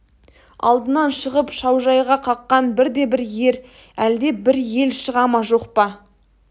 алдынан шығып шаужайға қаққан бірде-бір ер әлде бір ел шыға ма жоқ па